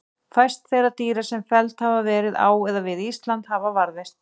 Fæst þeirra dýra sem felld hafa verið á eða við Ísland hafa varðveist.